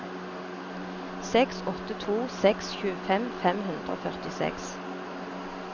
seks åtte to seks tjuefem fem hundre og førtiseks